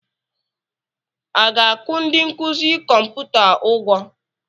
A ga-akwụ ndi nkuzi kọmputa ụgwọ?